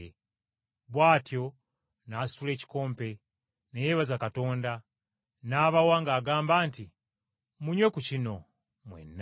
Bw’atyo n’asitula ekikompe, ne yeebaza Katonda, n’abawa ng’agamba nti, “Munywe ku kino mwenna,